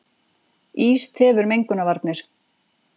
Ís tefur mengunarvarnir